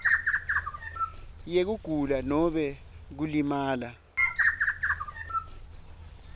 yekugula nobe kulimala